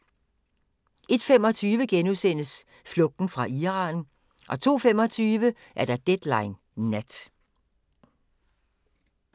01:25: Flugten fra Iran * 02:25: Deadline Nat